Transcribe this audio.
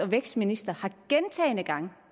vækstminister har gentagne gange